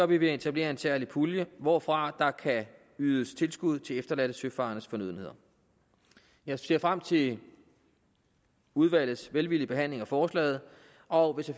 vi ved at etablere en særlig pulje hvorfra der kan ydes tilskud til efterladte søfarendes fornødenheder jeg ser frem til udvalgets velvillige behandling af forslaget og